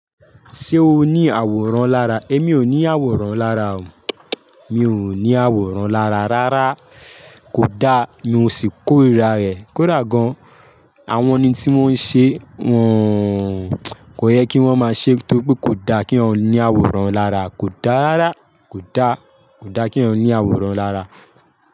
Ṣé o ní àwòrán lára? Émi ò ní àwòrán lára o. Mi ò ní àwòrán lára rárá. Kò da, mi ò sì kò rà rẹ̀, kò dà gan. Àwọn eni tí wọ́n ń ṣe, wọn kò yẹ kí wọ́n má ṣe, nítorí kò da kí èyàn ní àwòrán lára. Kò da rárá, kò da, kò da kí eyan ní àwòrán lára.